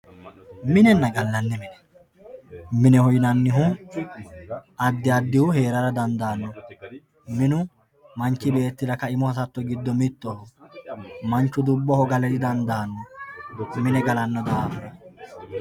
minenna gallanni mine mineho yinannihu addi addihu heerara dandaano minu manchi beettira ka"imu hasatto giddo mittoho manchu dubboho gale didandaano mine galanno daafo.